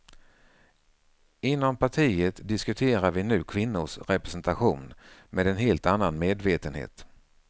Inom partiet diskuterar vi nu kvinnors representation med en helt annan medvetenhet.